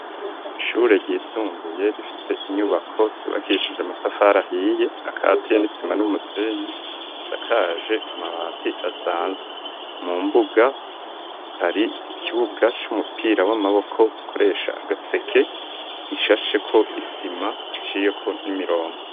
Ishure ryisumbuye rifise inyubako ryubakishije amatafari ahiye akatiye n'isima n'umusenyi, isakaje amabati asanzwe mu mbuga hari ikibuga c'umupira w'amaboko bakoresha agaseke ishasheko isima iciyeko n'imirongo.